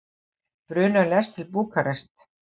Brunar lest til Búkarest